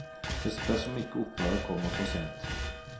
Det spørs om ikke opprøret kommer for sent.